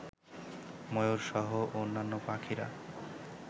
ময়ূরসহ অন্যান্য পাখিরা